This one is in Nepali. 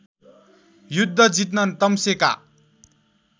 युद्ध जित्न तम्सेका